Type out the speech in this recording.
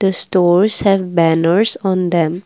stores have banners on them.